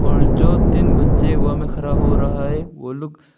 और जो तीन बच्चे हवा में खरा हो रहा वो लोग--